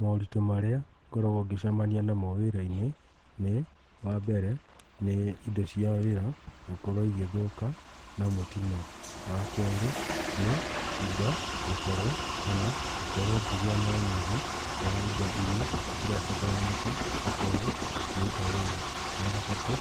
Moritũ marĩa ngoragwo ngĩcema namo wĩra-inĩ nĩ, wa mbere, indo cia wĩra gũkorwo igĩthũka na mũtino. Wa kerĩ, nĩ indo gũkorwo kana gũkorwo ngĩgĩa na ũnyihu wa indo irĩa irabataranĩka gũkorwo ngĩruta wĩra. Wa gatatũ,